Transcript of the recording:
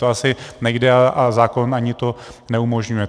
To asi nejde a zákon to ani neumožňuje.